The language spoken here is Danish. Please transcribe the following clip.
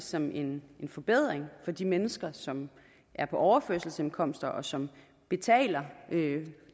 som en forbedring for de mennesker som er på overførselsindkomster og som betaler